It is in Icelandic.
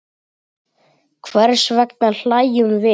Hvers vegna hlæjum við?